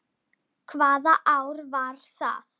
Hvaða ár var það?